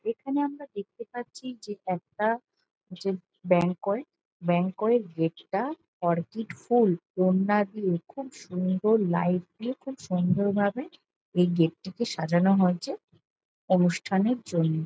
এখানে আমরা দেখতে পাচ্ছি যে একটা যে ব্যাংকোয়েট ব্যাংকোয়েট গেট টা অর্কিড ফুল ওড়না দিয়ে খুব সুন্দর লাইট দিয়ে খুব সুন্দর ভাবে এই গেট টিকে সাজানো হয়েছে অনুষ্ঠানের জন্য।